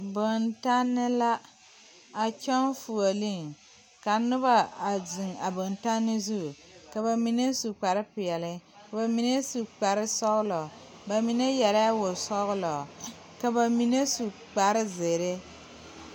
Bontanne la a tɔŋ fuulee ka noba zeŋ a bontanne zu ka ba mine su kpare peɛle ka ba mine su kpare sɔglɔ ba mine yɛre la wosɔglɔ ka ba mine su kpare zeere.